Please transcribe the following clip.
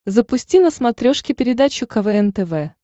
запусти на смотрешке передачу квн тв